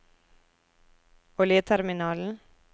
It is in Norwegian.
oljeterminalen